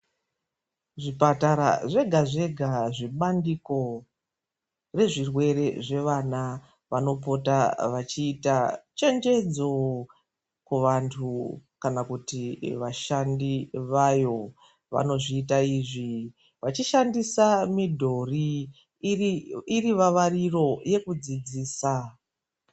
Zvipatara zvega zvega zvebandiko rezvirwere zvevana. Vanopota vachiita chenjedzo kuvantu, kana kuti vashandi vayo vanozviita izvi vachishandisa midhori iri vavariro yekudzidzisa.